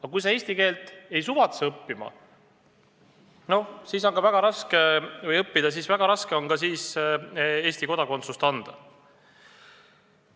Aga kui sa eesti keelt ei suvatse õppida, siis on väga raske sulle Eesti kodakondsust anda.